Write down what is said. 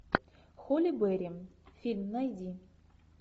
холи берри фильм найди